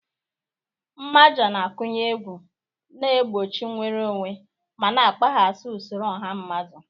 Mmaja na-akụnye egwu, na-egbochi nnwere onwe, ma na-akpaghasị usoro ọha mmadụ.